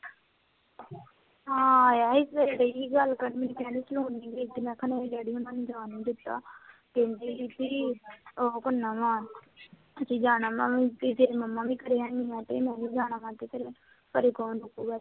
ਹਾਂ ਆਇਆ ਸੀ, ਸਵੇਰੇ ਡੇਈ ਸੀ ਗੱਲ ਕਰਣ ਕਹਿੰਦੀ ਸੀ ਹੁਣ ਨੀ ਭੇਜਣਾ, ਮੈਂ ਕਿਹਾ ਡੈਡੀ ਹੋਣਾ ਨੇ ਜਾਣ ਨੀ ਦਿੱਤਾ ਕਹਿੰਦੀ ਪਈ ਸੀ ਕੇ ਕਾਮਾ ਨਾਲ ਤੁਸੀਂ ਜਾਣਾ ਮੈਂ ਕਿਹਾ ਪੀਜੀਆਈ ਮੰਮਾ ਵੀ ਖੜ੍ਹਿਆ, ਮੈਂ ਕਿਹਾ ਮੈਂ ਨੀ ਜਾਣਾ, ਘਰੇ ਕੌਣ ਰੁਕੂਗਾ?